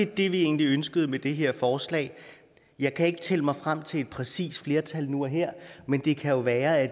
det vi egentlig ønskede med det her forslag jeg kan ikke tælle mig frem til et præcist flertal nu og her men det kan jo være at